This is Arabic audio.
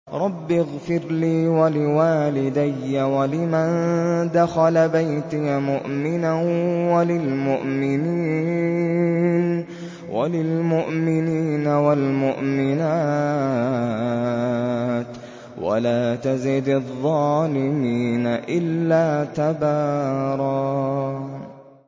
رَّبِّ اغْفِرْ لِي وَلِوَالِدَيَّ وَلِمَن دَخَلَ بَيْتِيَ مُؤْمِنًا وَلِلْمُؤْمِنِينَ وَالْمُؤْمِنَاتِ وَلَا تَزِدِ الظَّالِمِينَ إِلَّا تَبَارًا